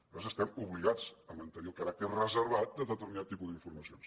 nosaltres estem obligats a mantenir el caràcter reservat de determinat tipus d’informacions